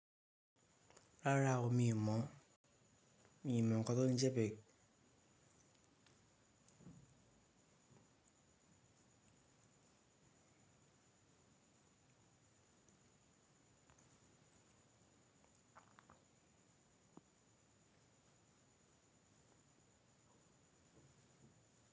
Rárá o, mi ò mọ̀, mi ò mọ̀ nǹkan tó ń jẹ bẹ́ẹ̀.